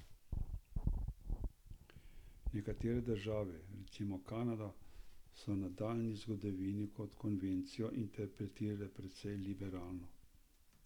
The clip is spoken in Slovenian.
Nekatere države, recimo Kanada, so v nedavni zgodovini to konvencijo interpretirale precej liberalno.